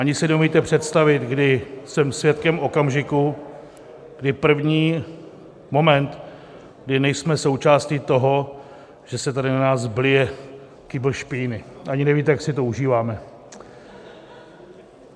Ani si neumíte přestavit, kdy jsem svědkem okamžiku, kdy první moment, kdy nejsme součástí toho, že se tady na nás blije kýbl špíny, ani nevíte, jak si to užíváme.